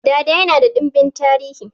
Dada yana da dimbin tarihi